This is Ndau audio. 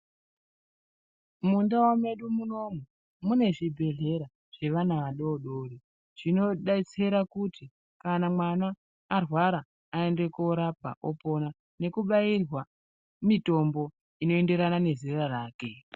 Mundau medu munomu mune zvibhedhlera zvevana vadodori zvinodetsera kuti kana mwana arwara aende korapwa opona nekubairwa mitombo inoenderana nezera rake.